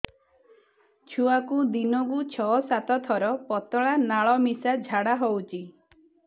ଛୁଆକୁ ଦିନକୁ ଛଅ ସାତ ଥର ପତଳା ନାଳ ମିଶା ଝାଡ଼ା ହଉଚି